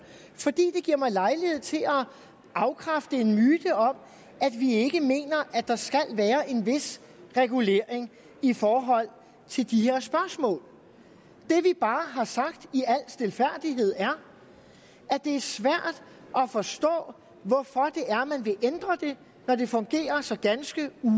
fordi det giver mig lejlighed til at afkræfte en myte om at vi ikke mener at der skal være en vis regulering i forhold til de her spørgsmål det vi bare har sagt i al stilfærdighed er at det er svært at forstå hvorfor man vil ændre det når det fungerer så ganske